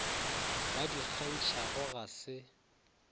ba di kgantšhago ga se